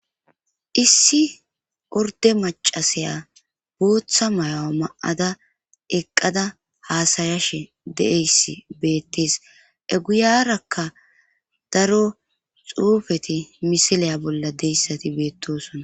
Issi orde macasaya booththa mayo ma7ada eqqada haasayashe de7eyssi beettees eguyarakka daro xuufeti misileya bolla deyssati beettosona